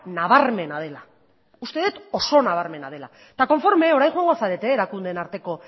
nabarmena dela uste dut oso nabarmena dela eta konforme orain joango zarete erakundeen arteko